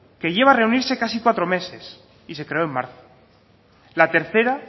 que lleva reunirse casi cuatro meses y se creó en marzo la tercera